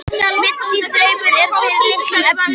Mikill draumur er fyrir litlu efni.